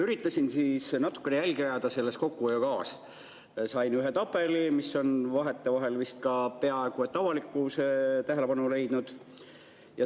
Üritasin natukene jälgi ajada selles kokkuhoiukavas, ühe tabelini, mis on vahetevahel vist ka peaaegu avalikkuse tähelepanu leidnud.